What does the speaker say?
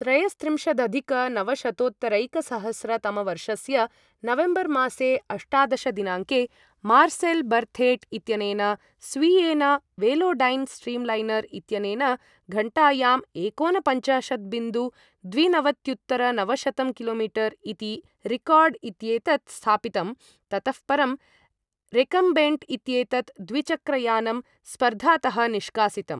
त्रयस्त्रिम्शदधिकनवशतोत्तरैकसहस्र तमवर्षस्य नवेम्बर् मासे अष्टादश दिनाङ्के मार्सेल् बर्थेट् इत्यनेन स्वीयेन वेलोडैन् स्ट्रीम्लैनर् इत्यनेन घण्टायां एकोनपंचाशत् बिन्दु द्विनवत्युत्तरनवशतम् किलोमीटर् इति रिकार्ड् इत्येतत् स्थापितं ततः परं रेकम्बेण्ट् इत्येतत् द्विचक्रयानं स्पर्धातः निष्कासितम्।